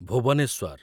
Bhubaneswar